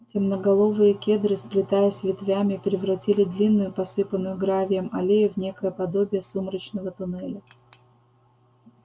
темноголовые кедры сплетаясь ветвями превратили длинную посыпанную гравием аллею в некое подобие сумрачного туннеля